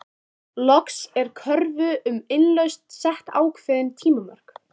Loks er kröfu um innlausn sett ákveðin tímamörk.